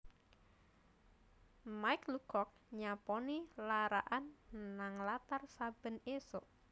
Mike Lucock nyaponi lara'an nang latar saben isuk